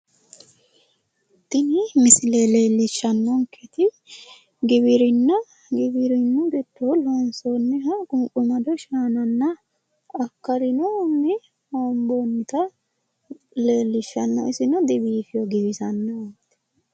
Tini misile leellishshannonkeeti giwirinna giddo loonsoonniha qunqumado shaananna akkallinohunni hoobbonnita leellishshanno isino dibiifino, giwisannoho.